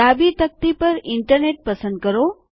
ડાબી તકતી પર ઇન્ટરનેટ પસંદ કરો